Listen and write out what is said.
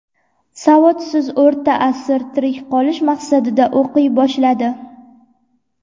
Savodsiz O‘rta asr tirik qolish maqsadida o‘qiy boshladi.